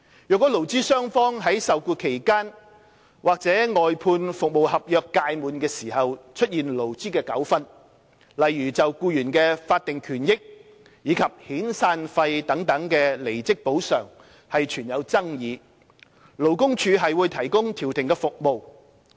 若勞資雙方於受僱期間，或外判服務合約屆滿時出現勞資糾紛，例如就僱員的法定權益及遣散費等離職補償存有爭議，勞工處會提供調停服務。